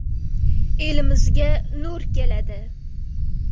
Elimizga nur keladi”.